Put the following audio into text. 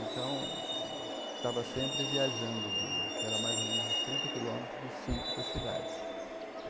Então, estava sempre viajando de, que eram mais ou menos uns trinta quilômetros do sítio para a cidade.